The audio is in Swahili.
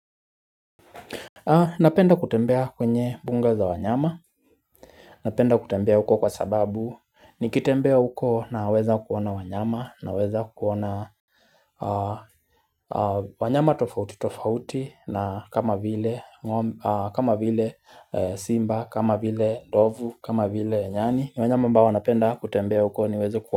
Napenda kutembea kwenye bunga za wanyama napenda kutembea huko kwa sababu nikitembea huko naweza kuona wanyama na weza kuona wanyama tofauti tofauti na kama vile simba kama vile ndovu kama vile nyani ni wanyama ambao napenda kutembea huko niweza kuona.